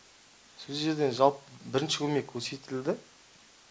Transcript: сол жерден жалпы бірінші көмек көрсетілді